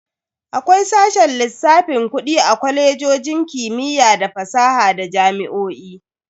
Akwai sashen lissafin Kudi a Kwalejojin kimiyya da fasaha da jami'o'i.